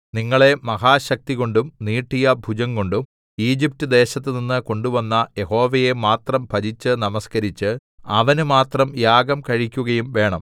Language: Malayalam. നിങ്ങളെ മഹാശക്തികൊണ്ടും നീട്ടിയ ഭുജംകൊണ്ടും ഈജിപ്റ്റ്ദേശത്തുനിന്ന് കൊണ്ടുവന്ന യഹോവയെ മാത്രം ഭജിച്ച് നമസ്കരിച്ച് അവന് മാത്രം യാഗം കഴിക്കുകയും വേണം